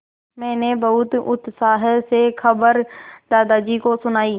मैंने बहुत उत्साह से खबर दादाजी को सुनाई